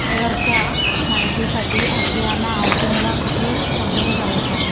share च्या माहिती साठी आशियाना हाऊसिंग ला कुठे संपर्क करायचा